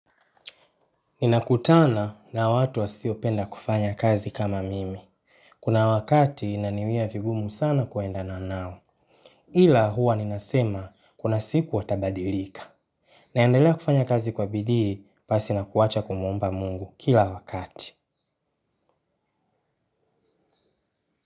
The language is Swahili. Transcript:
Ninakutana na watu wasiopenda kufanya kazi kama mimi. Kuna wakati inaniwia vigumu sana kuenda na nao. Ila huwa ninasema kuna siku watabadilika. Naendelea kufanya kazi kwa bidii pasi na kuacha kumwomba Mungu kila wakati.